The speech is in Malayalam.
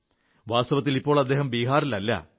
വാസ്തവത്തിൽ ഇപ്പോൾ അദ്ദേഹം ബീഹാറിലല്ല